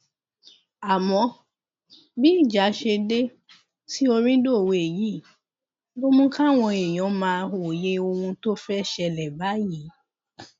àmọ bí ìjà ṣe dé tí orin dòwe yìí ló mú káwọn èèyàn máa wòye ohun tó fẹẹ ṣẹlẹ báyìí